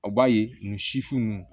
A b'a ye nin sifin